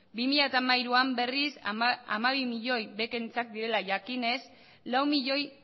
bi mila hamairuan berriz hamabi milioi bekentzat direla jakinez lau milioi